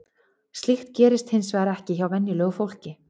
Slíkt gerist hins vegar ekki hjá venjulegu fólki.